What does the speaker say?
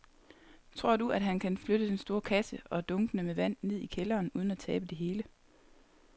Tror du, at han kan flytte den store kasse og dunkene med vand ned i kælderen uden at tabe det hele?